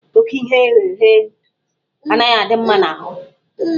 Ókè ihe eghere eghe anaghị adị mma n'ahụ.